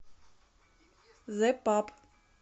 зэ паб